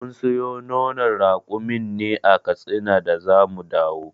Mun siyo nonon rakumin ne a katsina da zamu dawo.